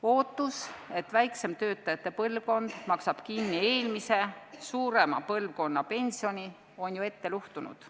Ootus, et väiksem töötajate põlvkond maksab kinni eelmise, suurema põlvkonna pensioni, on ette luhtunud.